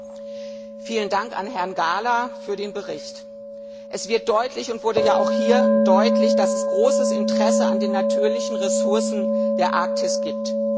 Herr Präsident! Vielen Dank an Herrn Gahler für den Bericht. Es wird deutlich und wurde ja auch hier deutlich, dass es großes Interesse an den natürlichen Ressourcen der Arktis gibt.